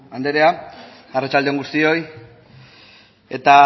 andrea arratsalde on guztioi eta